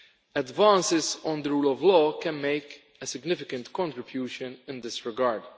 Advances on the rule of law can make a significant contribution in this regard.